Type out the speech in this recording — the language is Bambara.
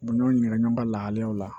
Ɲɔ ɲɔn lahalayaw la